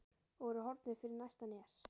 og voru horfnir fyrir næsta nes.